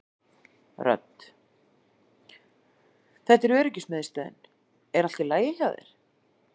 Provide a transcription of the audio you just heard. Rödd: Þetta er öryggismiðstöðin er allt í lagi hjá þér?